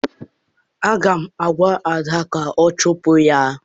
Aga m agwa Ada ka ọ chụpụ ya!